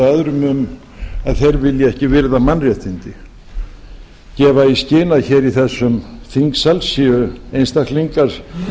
öðrum um að þeir vilji ekki virða mannréttindi gefa í skyn að hér í þessum þingsal séu einstaklingar